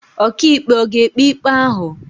Ọkàikpe ọ̀ ga-ekpe ikpe ahụ?